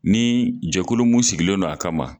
Ni jɛkulu mun sigilen don a ka ma.